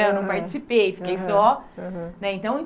Eu não participei, fiquei só. Aham aham. Né então